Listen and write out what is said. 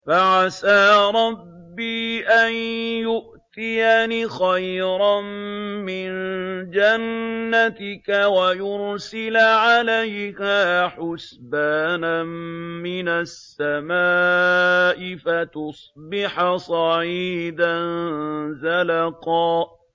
فَعَسَىٰ رَبِّي أَن يُؤْتِيَنِ خَيْرًا مِّن جَنَّتِكَ وَيُرْسِلَ عَلَيْهَا حُسْبَانًا مِّنَ السَّمَاءِ فَتُصْبِحَ صَعِيدًا زَلَقًا